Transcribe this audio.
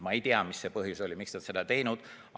Ma ei tea, mis oli põhjus, miks nad seda ei teinud.